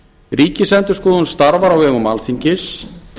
ríkisendurskoðun starfar á vegum alþingis